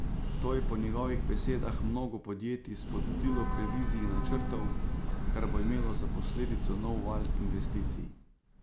To je po njegovih besedah mnogo podjetij spodbudilo k reviziji načrtov, kar bo imelo za posledico nov val investicij.